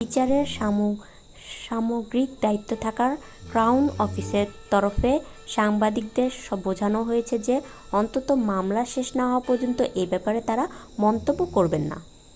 বিচারের সামগ্রিক দায়িত্বে থাকা ক্রাউন অফিসের তরফে সাংবাদিকদের বোঝানো হয়েছে যে অন্তত মামলা শেষ না হওয়া পর্যন্ত এ ব্যাপারে তারা মন্তব্য করবেন না